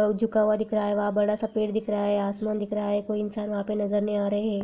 जो झुका हुआ दिख रहा है बड़ा सा पेड़ दिख रहा है आसमान दिख रहा है कोई इंसान वह पी नजर नहीं आ रहे है।